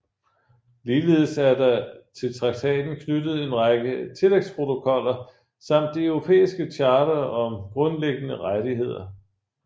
Ligeledes er der til traktaten knyttet en række tillægsprotokoller samt det europæiske charter om grundlæggende rettigheder